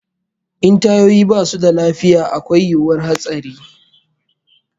In tayoyi basu da lafiya akwai yiwuwar hatsari